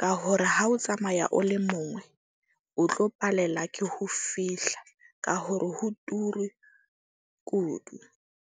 Ka hore ha o tsamaya o le mongwe, o tlo palela ke ho fihla ka hore ho turu kudu.